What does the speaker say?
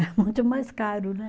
É muito mais caro, né?